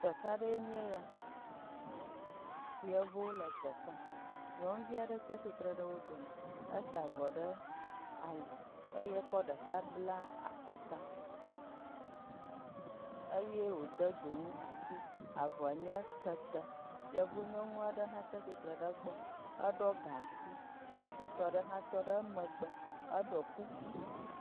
Teƒea ɖe nye ya. Yevuwo le teƒea. Nyɔnuvi aɖe tsia tsitre ɖe wo dome. Esa avɔ ɖe ali eye ekɔ ɖeka bla akɔta eye wode dzonu asi. Avɔa nye kete. Yevunyɔnua ɖe hã tsitre ɖe egbɔ. Eɖɔ gaŋkui ŋutsu tɔ ɖe hã tɔ ɖe megbe eɖɔ kuku.